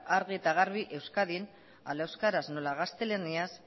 argi eta garbi euskadin hala euskaraz nola gaztelaniaz